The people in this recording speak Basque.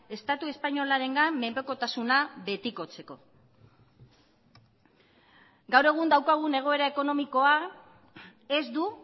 estatu espainolarengan menpekotasuna betikotzeko gaur egun daukagun egoera ekonomikoa ez du